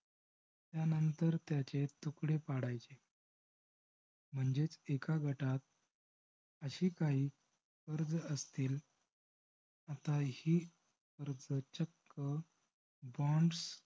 त्यानंतर त्याचे तुकडे पाडायचे. म्हणजेच एका गटात असे काही कर्ज असतील. आता हे कर्ज चक्क bonds